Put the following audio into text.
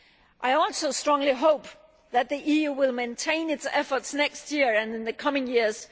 I also strongly hope that the EU will maintain its efforts next year and in the coming years.